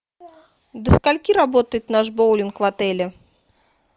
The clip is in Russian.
до скольки работает наш боулинг в отеле